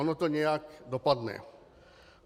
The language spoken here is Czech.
Ono to nějak dopadne.